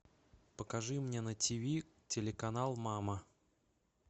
покажи мне на тв телеканал мама